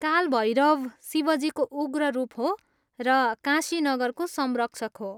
काल भैरव शिवजीको उग्र रूप हो र काशी नगरको संरक्षक हो।